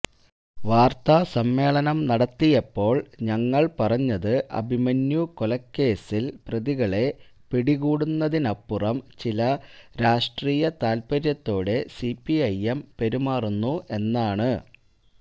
വാർത്താസമ്മേളനം നടത്തിയപ്പോൾ ഞങ്ങൾ പറഞ്ഞത് അഭിമന്യു കൊലക്കേസിൽ പ്രതികളെ പിടികൂടുന്നതിനപ്പുറം ചില രാഷ്ട്രീയതാൽപ്പര്യത്തോടെ സിപിഐഎം പെരുമാറുന്നു എന്നാണ്